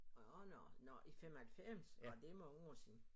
Nåh nå nå i 95 nå det mange år siden